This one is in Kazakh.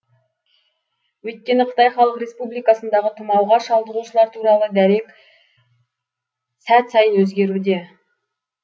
өйткені қытай халық республикасындағы тұмауға шалдығушылар туралы дерек әр сәт сайын өзгеруде